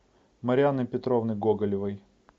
марианны петровны гоголевой